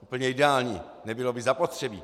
úplně ideální, nebylo by zapotřebí.